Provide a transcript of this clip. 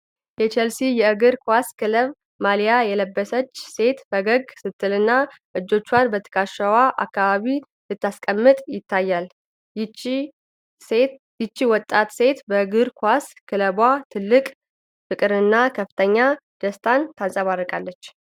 የቼልሲ የእግር ኳስ ክለብ ማሊያ የለበሰች ሴት ፈገግ ስትልና እጆቿን በትከሻዋ አካባቢ ስታስቀምጥ ይታያል። ይህች ወጣት ሴት በእግር ኳስ ክለቧ ትልቅ ፍቅርንና ከፍተኛ ደስታን ታንፀባርቃለች።